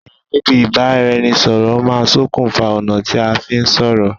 àyè níbi ìbáraẹnisọ̀rọ̀ má ń sokùn fa ọ̀nà tí a fí ń sọ̀rọ̀